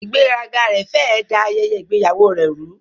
Ìgbéraga rẹ̀ fẹ́ ẹ̀ da ayẹyẹ ìgbéyàwó rẹ rú.